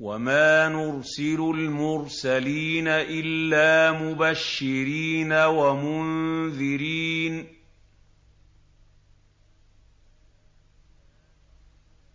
وَمَا نُرْسِلُ الْمُرْسَلِينَ إِلَّا مُبَشِّرِينَ وَمُنذِرِينَ ۚ